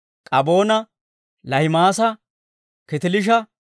Kaboona, Laahimaasa, Kitiliisha,